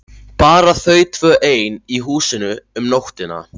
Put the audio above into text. Bara þau tvö ein í húsinu um nóttina!